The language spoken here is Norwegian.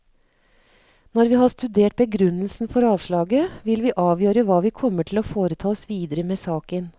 Når vi har studert begrunnelsen for avslaget, vil vi avgjøre hva vi kommer til å foreta oss videre med saken.